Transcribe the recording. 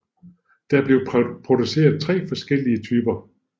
Der blev produceret tre forskellige typer